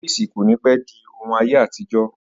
Ọ́fíìsì kò ní pẹ́ di òun ayé àtijọ́